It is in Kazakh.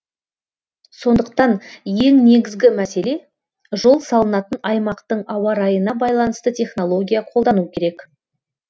сондықтан ең негізгі мәселе жол салынатын аймақтың ауа райына байланысты технология қолдану керек